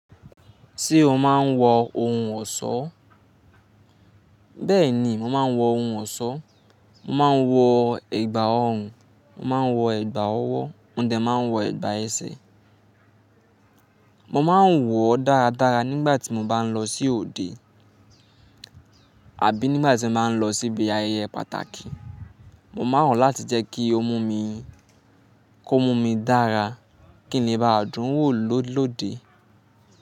Ṣé o máa ń wọ ohun ọ̀ṣọ́? Bẹ́ẹ̀ ni, mo máa ń wọ ohun ọ̀ṣọ́, mo máa ń wọ ẹ̀gbà ọrùn, mo máa ń wọ ẹ̀gbà ọwọ́, mo dẹ́ ma ń wọ ẹ̀gbà ẹsẹ̀. Mo máa ń wọ̀ dáradára nígbà tí mo bá ń lọ sí òde àbí nígbà tí mo bá ń lọ síbi ayẹyẹ pàtàkì. Mo máa n wo láti jẹ́ kí ó mú mi, kó mú mi dára kí n le bá dùn wò lóde.